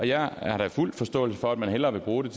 jeg har da fuld forståelse for at man hellere vil bruge